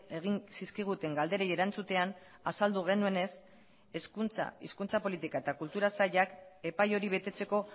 egin zizkiguten galderei erantzutean azaldu genuenez hezkuntza hizkuntza politika eta kultura sailak epai hori betetzeko